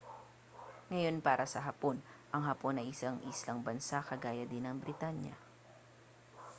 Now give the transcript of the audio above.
ngayon para sa hapon ang hapon ay isang islang bansa kagaya din ng britanya